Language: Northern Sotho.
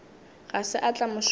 ga se a tla mošomong